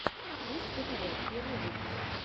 пусть говорят первый выпуск